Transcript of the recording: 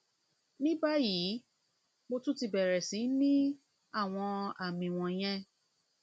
ní báyìí mo tún ti bẹrẹ sí ní àwọn àmì wọnyẹn